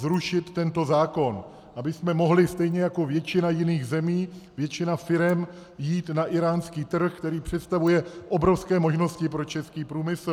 Zrušit tento zákon, abychom mohli stejně jako většina jiných zemí, většina firem jít na íránský trh, který představuje obrovské možnosti pro český průmysl.